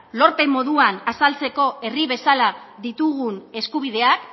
lorpen moduan azaltzeko herri bezala ditugun eskubideak